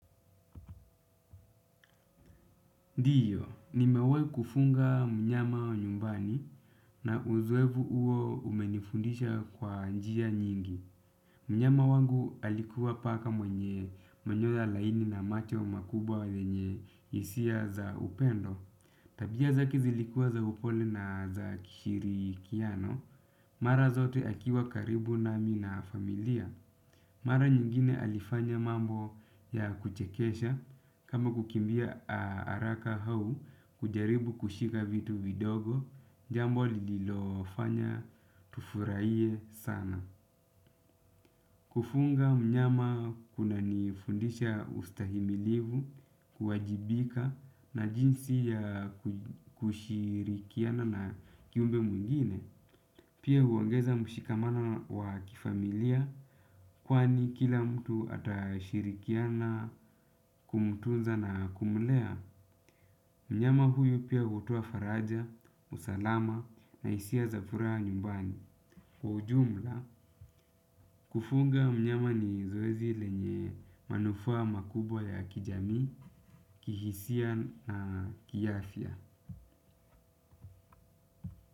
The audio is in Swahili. Ndiyo, nimewahi kufunga mnyama wa nyumbani na uzoevu huo umenifundisha kwa njia nyingi. Mnyama wangu alikuwa paka mwenye manyoa laini na macho makubwa yenye hisia za upendo. Tabia zake zilikua za upole na za kishiri kiano, mara zote akiwa karibu nami na familia. Mara nyingine alifanya mambo ya kuchekesha kama kukimbia haraka au kujaribu kushika vitu vidogo jambo lililo fanya tufurahie sana. Kufunga mnyama kuna nifundisha ustahimilivu kuwajibika na jinsi ya kushirikiana na kiumbe mwingine. Pia huongeza mshikamano wa kifamilia kwani kila mtu atashirikiana kumtunza na kumlea. Mnyama huyu pia hutoa faraja, usalama na hisia za furaha nyumbani. Kwa ujumla, kufunga mnyama ni zoezi lenye manufaa makubwa ya kijamii, kihisia na kiafya.